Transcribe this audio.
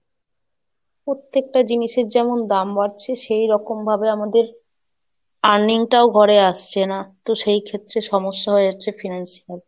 প্রত্যেকটা জিনিসের যেমন দাম বাড়ছে সেই রকম ভাবে আমাদের earning টাও ঘরে আসছে না, তো সেই ক্ষেত্রে সমস্যা হয়ে যাচ্ছে Financial,